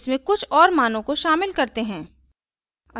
इसमें कुछ और मानों को शामिल करते हैं